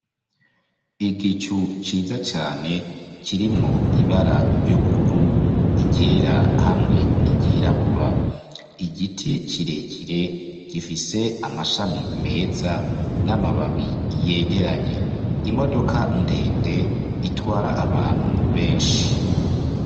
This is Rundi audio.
Igicu ciza cane kirimwo ibara ry'ubururu iryera hamwe n'iryirabura igiti kirekire gifise amashami meza n'amababi yegeranye imodoka ndende itwara abantu benshi.